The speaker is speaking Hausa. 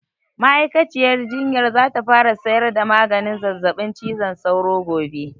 Ma'aikaciyar jinyar za ta fara sayar da maganin zazzaɓin cizon sauro gobe